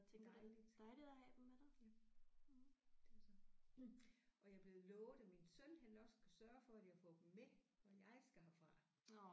Dejligt ja det er så og jeg er blevet lovet af min søn han nok skal sørge for at jeg nok skal få dem med når jeg skal herfra